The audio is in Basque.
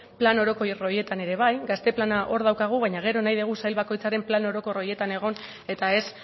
plan orokor horietan ere bai gazte plana hor daukagu baina gero nahi dugu sail bakoitzaren plan orokor horietan egon eta ez